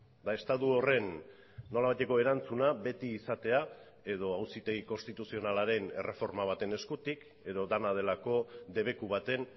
eta estatu horren nolabaiteko erantzuna beti izatea edo auzitegi konstituzionalaren erreforma baten eskutik edo dena delako debeku baten